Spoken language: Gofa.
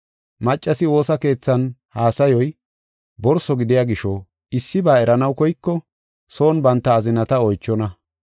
Maccasi woosa keethan haasayoy borso gidiya gisho issiba eranaw koyko son banta azinata oychonna.